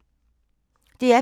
DR P2